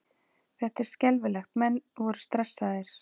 Þetta var skelfilegt, menn voru stressaðir.